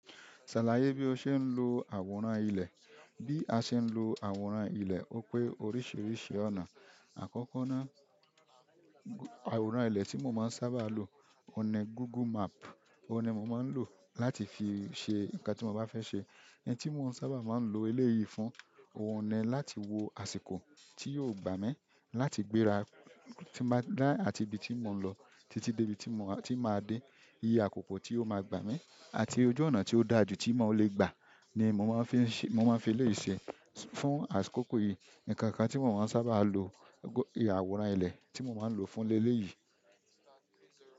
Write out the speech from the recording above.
Ṣàlàyé bí o ṣe ń lo àwòrán ilẹ̀. Bí a ṣe ń lo àwòrán ilẹ̀ ó pé oríṣiríṣi ọ̀nà. Àkọ́kọ́ ná—àwòrán ilẹ̀ tí mo ma ń sábà lò òun ni google map òun ni mo ma ń lò láti fi ṣe ǹǹkan tí mo bá fẹ́ ṣe oun tí mo sábà ma ń lo eléyìí fún, òun ni láti wo àsìkò tí yóò gbà mí láti gbéra tí n bá— ní àti ibi tí mò ń lọ títí dé ibi tí mo— tí màá dé. Iye àkókò tí ó ma gbà mí àti ojú ọ̀nà tí ó da jù tí mò lè gbà ni mo ma ń fi— mo ma ń fi eléyìí ṣe. Tún àkókò yìí ǹǹkan kan tí mo ma ń sábà lo àwòrán ilẹ̀, tí mo ma ń lòó fún leléyìí.